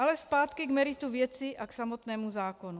Ale zpátky k meritu věci a k samotnému zákonu.